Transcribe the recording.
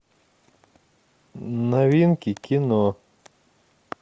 новинки кино